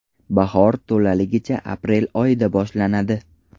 Bahor to‘laligicha aprel oyida boshlanadi.